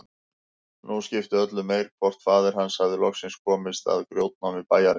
Nú skipti öllu meir hvort faðir hans hafði loksins komist að í grjótnámi bæjarins.